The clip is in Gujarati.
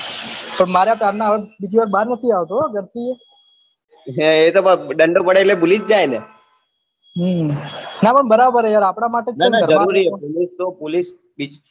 પણ માર્યા ત્યાર ના હવે બીજે વાર બાર ની આવતો હો ઘર ની એ એ તો ડંડો પડે એટલે ભૂલી જ જાયે ને હમ ના પણ બરાબર હે યાર આપના માટે